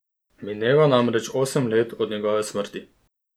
Mineva namreč osem let od njegove smrti.